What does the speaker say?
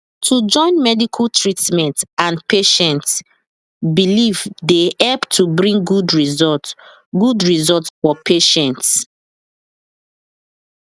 to join medical treatment and patient beliefse dey help to bring good result good result for patient